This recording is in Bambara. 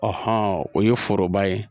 han o ye foroba ye